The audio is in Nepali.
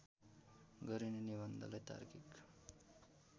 गरिने निबन्धलाई तार्किक